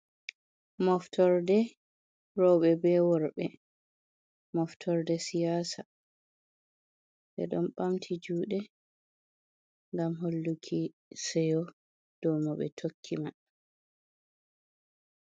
Moftorde roɓɓe be worɓe moftorde siyasa ɓe ɗon ɓamti juɗe gam holluki seyo dow mo ɓe tokki man.